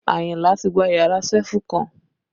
Ayinla ti gba yàrá sefú kọ́n